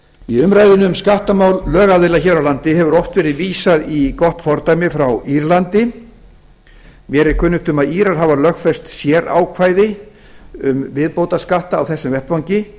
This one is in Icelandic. í umræðunni um skattamál lögaðila hér á landi hefur oft verið vísað í gott fordæmi frá írlandi mér er kunnugt um að írar hafa lögfest sérákvæði um viðbótarskatta á þessum vettvangi